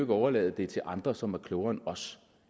overlade det til andre som er klogere end os